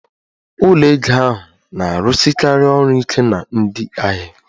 Ụlọ ego ahụ na-arụsikarị ọrụ ike na ndị ahịa